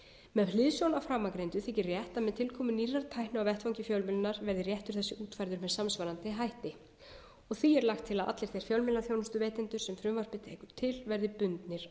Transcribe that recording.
með hliðsjón af framangreindu þykir rétt að með tilkomu nýrrar tækni á vettvangi fjölmiðlunar verði réttur þessi útfærður með samsvarandi hætti því er lagt til að allir þeir fjölmiðlaþjónustuveitendur sem frumvarpið tekur til verði bundnir